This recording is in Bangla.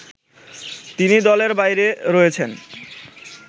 তিনি দলের বাইরে রয়েছেন